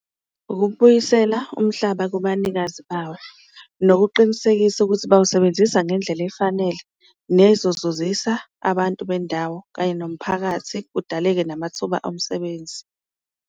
Ukubuyisela umhlaba kubanikazi bawo nokuqinisekisa ukuthi bawusebenzisa ngendlela efanele nezozuzisa abantu bendawo kanye nomphakathi, kudaleke namathuba omsebenzi.